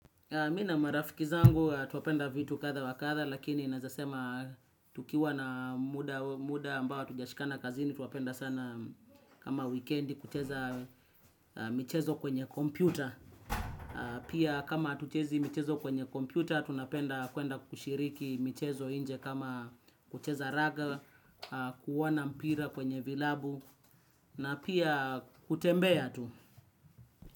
Mi na marafiki zangu twapenda vitu katha wa katha lakini naezasema tukiwa na muda ambao hatujashikana kazini twapenda sana kama wikendi kucheza michezo kwenye kompyuta. Pia, kama hatuchezi michezo kwenye kompyuta tunapenda kuenda kushiriki michezo inje kama kucheza raga kuwana mpira kwenye vilabu na pia kutembea tu.